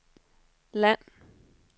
land